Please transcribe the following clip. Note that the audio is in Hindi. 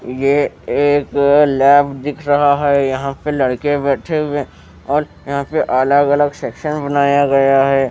ये एक लैब दिख रहा है यहां पे लड़के बैठे हुए हैं और यहां पे अलग अलग सेक्शन बनाया गया है।